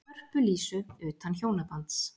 Hörpu Lísu, utan hjónabands.